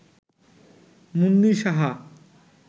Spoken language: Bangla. মুন্নি সাহা